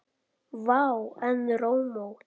Vá, en rómó.